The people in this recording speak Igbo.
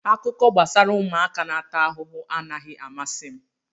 Akụkọ gbasara ụmụaka na-ata ahụhụ anaghị amasị m